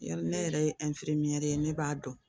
Yali ne yɛrɛ ye ye ne b'a dɔn